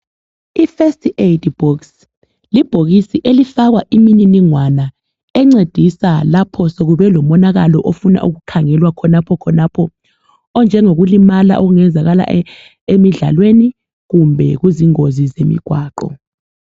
IFirst aid box, libhokisi elifakwa imininingwana , encedisa lapho sekubelomonakalo, ofuna ukukhangelwa khonaphokhonapho. Onjengokulimala, okungenzakala emidlalweni, kumbe kuzingozi zemigwaqo.